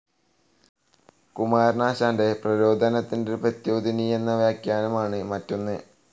കുമാരനാശാന്റെ പ്രരോദനത്തിന്റെ പ്രദ്യോതിനി എന്ന വ്യാഖ്യാനമാണ്‌ മറ്റൊന്ന്.